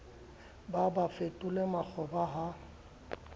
ba ba fetole makgoba ha